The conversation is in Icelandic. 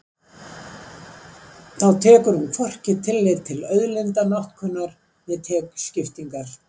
Þá tekur hún hvorki tillit til auðlindanotkunar né tekjuskiptingar.